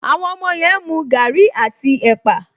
Àwọn ọmọ yẹn ń mu gaàrí àti ẹ̀pà